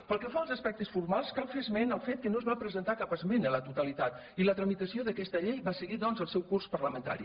pel que fa als aspectes formals cal fer esment al fet que no es va presentar cap esmena a la totalitat i la tramitació d’aquesta llei va seguir doncs el seu curs parlamentari